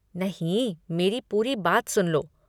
नहीं, मेरी पूरी बात सुन लो।